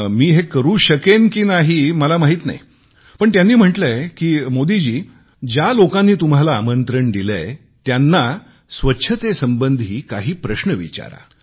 मी हे करू शकेन की नाही मला माहीत नाही पण त्यांनी म्हटलेय की मोदी जी तुम्ही आपले दौरे ठरवताना ज्या लोकांनी तुम्हाला आमंत्रण दिलेय त्यांना स्वच्छतेसंबंधी काही प्रश्न विचारा